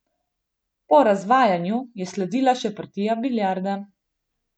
Po razvajanju je sledila še partija biljarda.